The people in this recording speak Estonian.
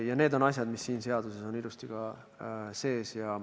Ja need on asjad, mis siin seaduses on ka ilusti sees.